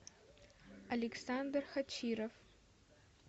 александр хачиров